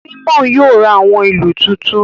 Simon yóò rá awọn ìlú tuntun